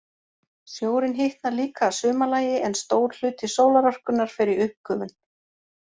Sjórinn hitnar líka að sumarlagi, en stór hluti sólarorkunnar fer í uppgufun.